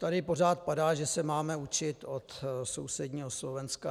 Tady pořád padá, že se máme učit od sousedního Slovenska.